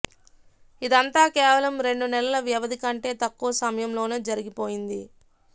ఇదంతా కేవలం రెండు నెలల వ్యవధి కంటే తక్కువ సమయంలోనే జరిగిపోయింది